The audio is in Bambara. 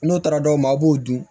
N'o taara dɔw ma a b'o dun